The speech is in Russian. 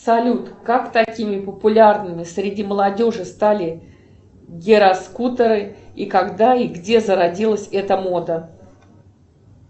салют как такими популярными среди молодежи стали гироскутеры и когда и где зародилась эта мода